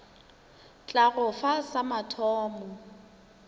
tla go fa sa mathomo